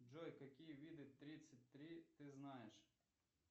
джой какие виды тридцать три ты знаешь